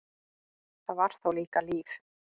Það var þá líka líf!